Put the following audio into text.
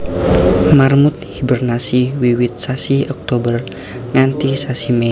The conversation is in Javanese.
Marmut hibernasi wiwit sasi Oktober nganti sasi Mei